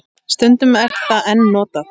Stundum er það enn notað.